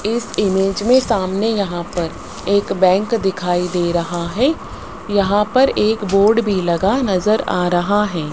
इस इमेज में सामने यहां पर एक बैंक दिखाई दे रहा है यहां पर एक बोर्ड भी लगा नजर आ रहा है।